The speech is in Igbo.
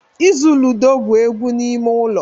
Ịzụ ludo bụ egwu ime ụlọ